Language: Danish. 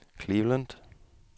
Cleveland